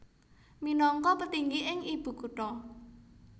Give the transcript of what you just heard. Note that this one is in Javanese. Minangka petinggi ing ibu kutha